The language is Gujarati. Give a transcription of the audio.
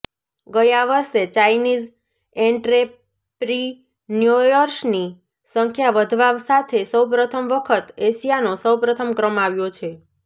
ગયા વર્ષે ચાઈનીઝ એન્ટ્રેપ્રીન્યોર્સની સંખ્યા વધવા સાથે સૌપ્રથમ વખત એશિયાનો પ્રથમ ક્રમ આવ્યો છે